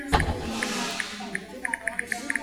мани мэйкерс в ютубе